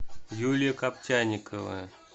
юлия коптяникова